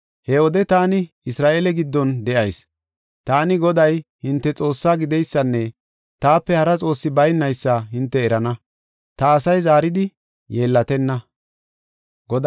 He wode taani Isra7eele giddon de7eysa, taani Goday hinte Xoossaa gideysanne taape hara xoossi baynaysa hinte erana; ta asay zaaridi yeellatenna.